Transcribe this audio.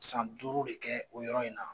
San duuru de kɛ o yɔrɔ in na